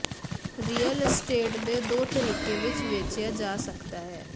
real estate ਦੇ ਦੋ ਤਰੀਕੇ ਵਿੱਚ ਵੇਚਿਆ ਜਾ ਸਕਦਾ ਹੈ